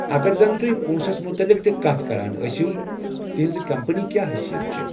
اگر زن تُہۍ پونٛسس متعلق تہِ كتھ كران ٲسِو،' تہٕنٛزِ كمپنی كیٛاہ حٔیثیت چھےٚ ؟